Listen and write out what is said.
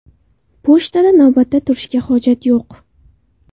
Pochtada navbatda turishga hojat yo‘q.